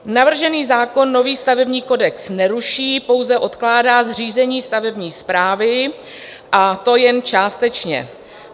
Navržený zákon nový stavební kodex neruší, pouze odkládá zřízení stavební správy, a to jen částečně.